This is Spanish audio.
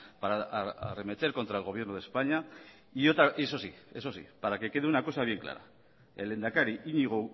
para arremeter contra el gobierno de españa y eso sí eso sí para que quede una cosa bien clara el lehendakari iñigo